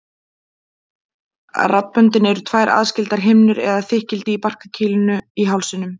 Raddböndin eru tvær aðskildar himnur eða þykkildi í barkakýlinu í hálsinum.